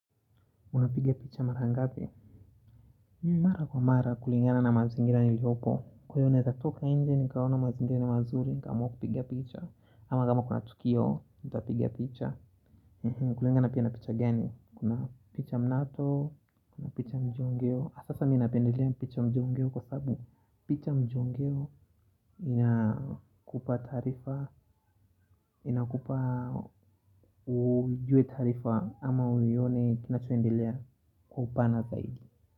Unapiga picha mara ngapi? Mara kwa mara kulingana na mazingira niliopo Kwa hiyo naweza toka nje nikaona mazingira ni mazuri nikaamua kupigia picha ama kama kuna Tukio, utapigia picha kulingana pia na picha gani? Kuna picha mnato, kuna picha mjongeo sasa mimi napendelea picha mjongeo kwa sababu picha mjongeo inakupa taarifa inakupa ujue taarifa ama uione kinachoendelea kwa upana zaidi.